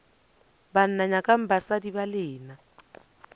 banna nyakang basadi ba lena